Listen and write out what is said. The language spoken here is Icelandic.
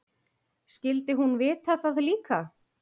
Skyldi hún vita það líka?